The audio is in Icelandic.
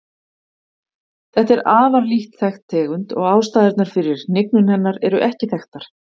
Þetta er afar lítt þekkt tegund og ástæðurnar fyrir hnignun hennar eru ekki þekktar.